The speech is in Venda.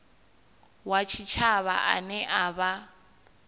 wa tshitshavha ane a vha